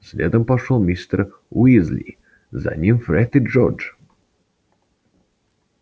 следом пошёл мистер уизли за ним фред и джордж